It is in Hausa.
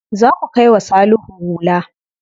Za ku kai wa Salihu hula.